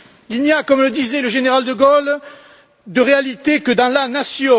Il n'y a, comme le disait le général de Gaulle, de réalité que dans la nation.